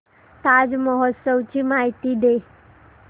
ताज महोत्सव ची माहिती दे